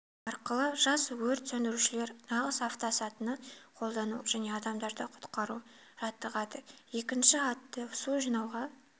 арқылы жас өрт сөндірушілер нағыз автосатыны қолдану және адамдарды ққұтқару жаттығады екінші атты су жинауға